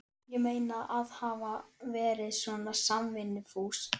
Ég meina, að hafa verið svona samvinnufús.